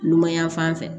Numan yan fan fɛ